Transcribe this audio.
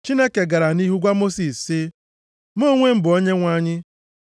Chineke gara nʼihu gwa Mosis sị, “Mụ onwe m bụ Onyenwe anyị.”